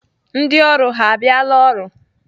Ndị ọrụ ha abịala ọrụ?